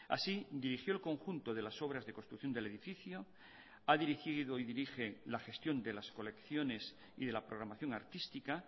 así dirigió el conjunto de las obras de construcción del edificio ha dirigido y dirige la gestión de las colecciones y de la programación artística